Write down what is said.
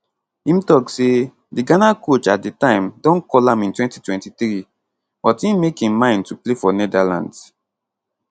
im tok say di ghana coach at di time don call am in 2023 but im make im mind to play for netherlands